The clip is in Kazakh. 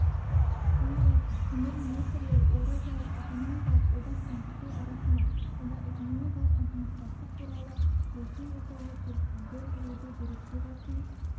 сондай-ақ премьер-министрлер еуразиялық экономикалық одақ пен қытай арасында сауда-экономикалық ынтымақтастық туралы келісім жасауға келіссөздер жүргізу директивасын